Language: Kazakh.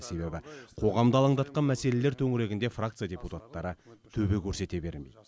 себебі қоғамды алаңдатқан мәселелер төңірегінде фракция депутаттары төбе көрсете бермейді